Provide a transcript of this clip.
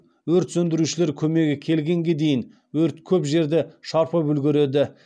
өрт сөндірушілер көмегі келгенге дейін өрт көп жерді шарпып үлгереді